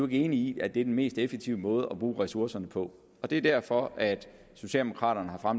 i at det er den mest effektive måde at bruge ressourcerne på og det er derfor at socialdemokraterne har